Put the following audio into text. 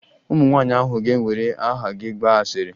Ụmụ nwaanyị ahụ ga-ewere aha gị gbaa asịrị